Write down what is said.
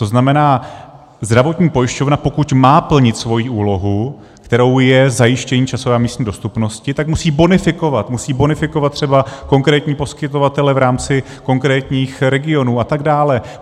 To znamená, zdravotní pojišťovna, pokud má plnit svoji úlohu, kterou je zajištění časové a místní dostupnosti, tak musí bonifikovat, musí bonifikovat třeba konkrétní poskytovatele v rámci konkrétních regionů atd.